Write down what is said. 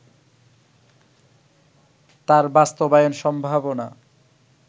তার বাস্তবায়ন সম্ভাবনা